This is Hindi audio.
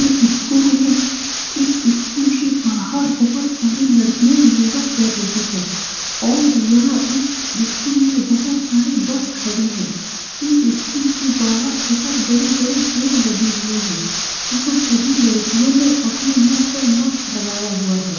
एक स्कूल हैं इस स्कूल के बाहर बहुत सारे लड़कियाँ योगा कर रही हैं और यहाँ इस स्कूल में बहुत सारे बस खड़े हैं इस स्कूल के बाहर बहुत बड़े-बड़े पेड़ लगे हुए हैं यहाँ सभी लड़कियों ने अपने मुँह पे मास्क लगाया हुआ है ।